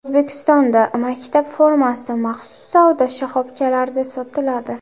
O‘zbekistonda maktab formasi maxsus savdo shoxobchalarida sotiladi.